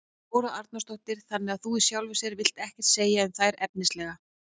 Þóra Arnórsdóttir: Þannig að þú í sjálfu sér vilt ekkert segja um þær efnislega?